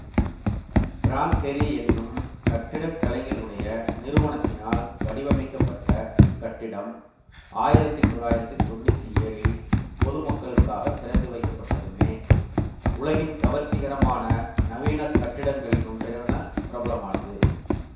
prank Gehry என்னும் கட்டிடக்கலைஞருடைய நிறுவனத்தினால் வடிவமைக்கப்பட்ட இக் கட்டிடம் ஆயிரத்தி தொள்ளாயிரத்தி தொன்னூத்தி ஏழில் பொதுமக்களுக்காகத் திறந்துவைக்கப்பட்டதுமே உலகின் கவர்ச்சிகரமான நவீன கட்டிடங்களிலொன்றென பிரபலமானது